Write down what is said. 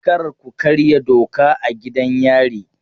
Kar ku karya doka a gidan yari!